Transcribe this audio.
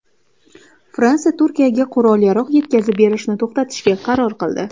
Fransiya Turkiyaga qurol-yarog‘ yetkazib berishni to‘xtatishga qaror qildi.